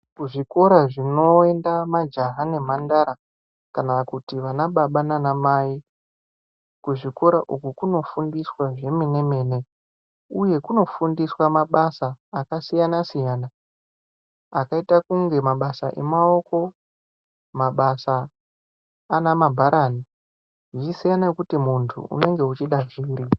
Kuzvikora kunoenda majaha nemhandara kana kuti vanababa nanamai. Kuzvikora uku kunofundiswa zvemene-mene, uye kunofundiswa mabasa akasiyana-siyana akaita kunge mabasa emaoko, mabasa ana mabharani. Zvichisiya ngekuti muntu unonga uchida zviri.